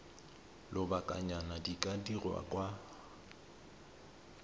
lobakanyana di ka dirwa kwa